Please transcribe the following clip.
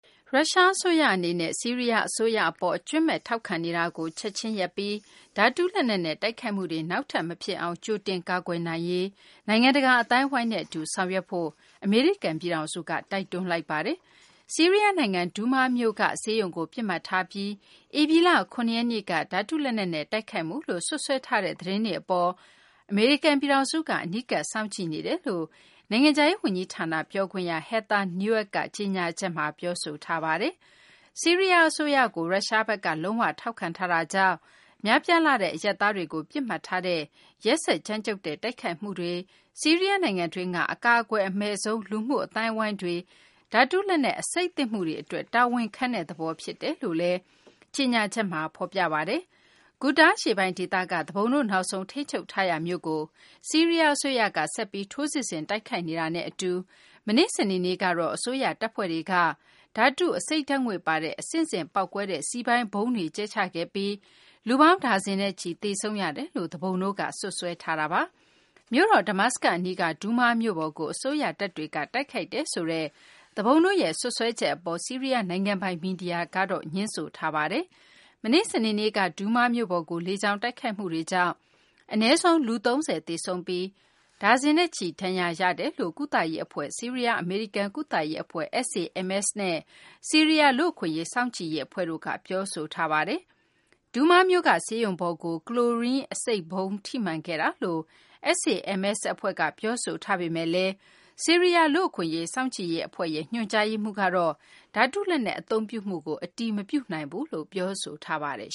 ရုရှား အစိုးရ အနေနဲ့ ဆီးရီးယား အစိုးရ အပေါ် အကြွင်းမဲ့ ထောက်ခံနေမှုကို ချက်ချင်းရပ်ပြီး ဓာတုလက်နက်နဲ့ တိုက်ခိုက်မှုတွေ နောက်ထပ် မဖြစ်အောင် ကြိုတင်ကာကွယ်နိုင်ရေး နိုင်ငံတကာ အသိုင်းအဝိုင်းနဲ့ အတူ ဆောင်ရွက်ဖို့ အမေရိကန် ပြည်ထောင်စုက တိုက်တွန်းလိုက်ပါတယ်။ ဆီးရီးယား နိုင်ငံ ဒူးမားမြို့က ဆေးရုံကို ပစ်မှတ်ထားပြီး ဧပြီလ ၇ ရက်နေ့က ဓာတုလက်နက်နဲ့ တိုက်ခိုက်မှုလို့ စွပ်စွဲထားတဲ့ သတင်းတွေ အပေါ် အမေရိကန် ပြည်ထောင်စုက အနီးကပ် စောင့်ကြည့်နေတယ်လို့ နိုင်ငံခြားရေး ဝန်ကြီးဌာန ပြောခွင့်ရ Heather Nauert က ကြေညာချက်မှာ ပြောဆိုထားပါတယ်။ ဆီးရီးယား အစိုးရကို ရုရှားဘက်က လုံး၀ ထောက်ခံထားတာကြောင့် များပြားလှတဲ့ အရပ်သားတွေကို ပစ်မှတ်ထားတဲ့ ဒီရက်စက်ကြမ်းကြုတ်တဲ့ တိုက်ခိုက်မှုတွေနဲ့ ဆီးရီးယား နိုင်ငံတွင်းက အကာအကွယ် အမဲ့ဆုံး လူမှုအသိုင်းအဝိုင်းတွေ ဓာတုလက်နက် အဆိပ်သင့်မှုတွေ အတွက် တာဝန်ခံတဲ့ သဘောဖြစ်တယ်လို့လည်း အစီရင်ခံစာမှာ ဖော်ပြပါတယ်။ Ghouta အရှေ့ပိုင်း ဒေသက သူပုန်တို့ နောက်ဆုံး ထိန်းချုပ်ထားရာ မြို့ကို ဆီးရီးယား အစိုးရက ဆက်ပြီး ထိုးစစ်ဆင် တိုက်ခိုက်နေတာနဲ့ အတူ မနေ့ စနေနေ့ကတော့ အစိုးရ တပ်ဖွဲ့တွေက ဓာတု အဆိပ်ဓာတ်ငွေ့ ပါတဲ့ အဆင့်ဆင့် ပေါက်ကွဲတဲ့ စည်ပိုင်းဗုံးတွေ ကျဲချခဲ့ပြီး လူပေါင်း ဒါဇင်နဲ့ချီ သေဆုံးရတယ်လို့ သူပုန်တို့က စွပ်စွဲ ပြောဆိုထားပါတယ်။ မြို့တော် Damascus အနီးက ဒူးမားမြို့ပေါ်ကို အစိုးရတပ်တွေက တိုက်ခိုက်ခဲ့တယ်ဆိုတဲ့ သူပုန်တို့ရဲ့ စွပ်စွဲချက် အပေါ် ဆီးရီးယား နိုင်ငံပိုင် မီဒီယာက ငြင်းဆိုထားပါတယ် မနေ့ စနေနေ့က ဒူးမားမြို့ပေါ်ကို လေကြောင်းတိုက်ခိုက်မှုတွေကြောင့် အနည်းဆုံး လူ ၃၀ သေဆုံးပြီး ဒါဇင်နဲ့ချီ ဒဏ်ရာရခဲ့တယ်လို့ ကုသရေးအဖွဲ့ ဆီးရီးယား အမေရိကန် ကုသရေးအဖွဲ့ SAMS နဲ့ ဆီးရီးယား လူ့အခွင့်အရေး စောင့်ကြည့်ရေး အဖွဲ့တို့က ပြောဆိုထားပါတယ်။ ဒူးမားမြို့က ဆေးရုံပေါ်ကို ကလိုရင်း အဆိပ်ဗုံး ထိမှန်ခဲ့တယ်လို့ SAMS အဖွဲ့က ပြောဆိုထားပေမယ့်လည်း ဆီးရီးယား လူ့အခွင့်အရေး စောင့်ကြည့်ရေး အဖွဲ့ရဲ့ ညွန်ကြားရေးမှူးကတော့ ဓာတုလက်နက် အသုံးပြုမှုကို အတည်မပြုနိုင်ဘူးလို့ ပြောဆိုထားပါတယ်